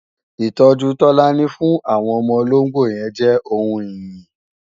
Ìtọ́jú Tọ́lání fún àwọn ọmọ ológbò jẹ́ ohun ìyìn